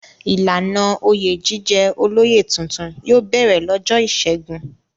Ìlànà oyè jíjẹ olóyè tuntun yóò bẹ̀rẹ̀ lọ́jọ́ ìṣẹ́gun.